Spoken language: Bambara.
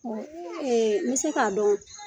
n bɛ se k'a dɔn